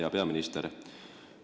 Hea peaminister!